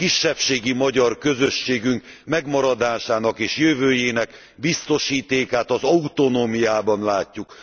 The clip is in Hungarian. Kisebbségi magyar közösségünk megmaradásának és jövőjének a biztosítékát az autonómiában látjuk.